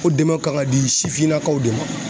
O dɛmɛw kan ka di sifinnakaw de ma.